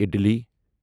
ادِلی